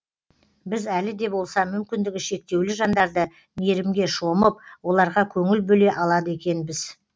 біз әлі де болса мүмкіндігі шектеулі жандарды мейірімге шомып оларға көңіл бөле алады екенбіз